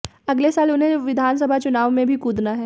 अगले साल उन्हें विधानसभा चुनाव में भी कूदना है